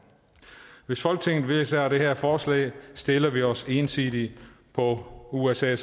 hvis folketinget vedtager det her forslag stiller vi os ensidigt på usa